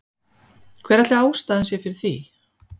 Hver ætli ástæðan sé fyrir því?